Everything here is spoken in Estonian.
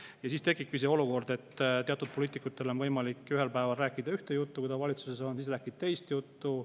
Ja siis tekibki see olukord, et teatud poliitikutel on võimalik ühel päeval rääkida ühte juttu, ja kui ta valitsuses on, siis ta räägib teist juttu.